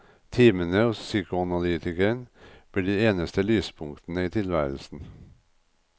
Timene hos psykoanalytikeren blir de eneste lyspunktene i tilværelsen.